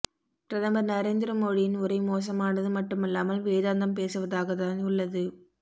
பிரதமர் நரேந்திர மோடியின் உரை மோசமானது மட்டுமல்லாமல் வேதாந்தம் பேசுவதாகதான் உள்ளது